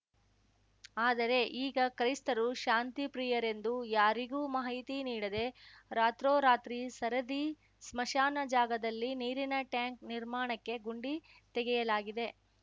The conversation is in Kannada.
ಆದರೆ ಈಗ ಕೈಸ್ತರು ಶಾಂತಿಪ್ರಿಯರೆಂದು ಯಾರಿಗೂ ಮಾಹಿತಿ ನೀಡದೇ ರಾತ್ರೋರಾತ್ರಿ ಸರದಿ ಸ್ಮಶಾನ ಜಾಗದಲ್ಲಿ ನೀರಿನ ಟ್ಯಾಂಕ್‌ ನಿರ್ಮಾಣಕ್ಕೆ ಗುಂಡಿ ತೆಗೆಯಲಾಗಿದೆ